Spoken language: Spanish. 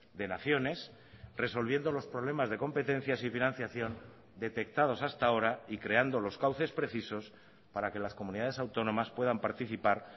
de naciones resolviendo los problemas de competencias y financiación detectados hasta ahora y creando los cauces precisos para que las comunidades autónomas puedan participar